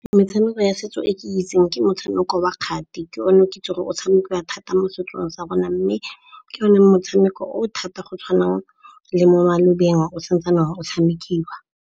Metshameko ya setso e ke itseng ke motshameko wa kgati. Ke o ne o ke itseng gore o tshamekiwa thata mo setsong sa rona mme ke yone motshameko o thata go tshwana le mo malobeng o santsane go tshamekiwa.